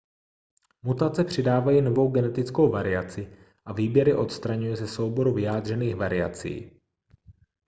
mutace přidávají novou genetickou variaci a výběr je odstraňuje ze souboru vyjádřených variací